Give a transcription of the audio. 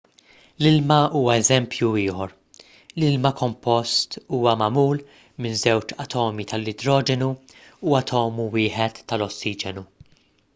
l-ilma huwa eżempju ieħor l-ilma kompost huwa magħmul minn żewġ atomi tal-idroġenu u atomu wieħed tal-ossiġenu